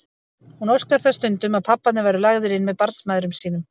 Hún óskar þess stundum að pabbarnir væru lagðir inn með barnsmæðrum sínum.